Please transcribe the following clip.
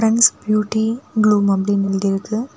Friends Beauty Bloom அப்படின்னு எழுதி இருக்கு.